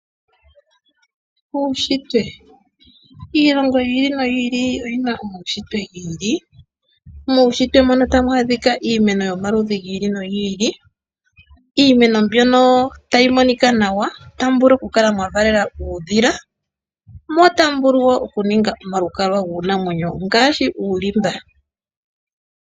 Uunshitwe. Iilongo yili noyili oyina uushitwe yili. Muushitwe muno otamu adhika iimeno yili noyili, iimeno mbyono tayi monika nawa . Ohamu vulu okukala mwavalela uudhila , mo otamu vulu okuningwa omalukalwa giinamwenyo ngaashi uulimba.